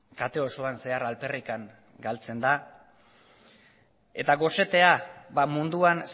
kate osoan zehar alperrik galtzen da eta gosetea ba munduan